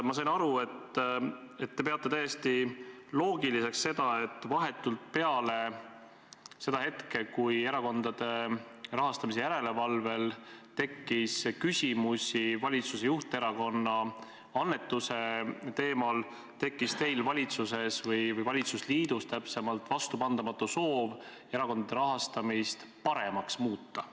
Ma sain aru, et te peate täiesti loogiliseks, et vahetult peale seda hetke, kui Erakondade Rahastamise Järelevalve Komisjonil tekkis küsimusi valitsuse juhterakonna annetuse teemal, tekkis teil valitsuses – või täpsemalt valitsusliidus – vastupandamatu soov erakondade rahastamist paremaks muuta.